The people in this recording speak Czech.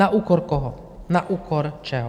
Na úkor koho, na úkor čeho?